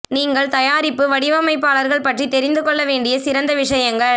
நீங்கள் தயாரிப்பு வடிவமைப்பாளர்கள் பற்றி தெரிந்து கொள்ள வேண்டிய சிறந்த விஷயங்கள்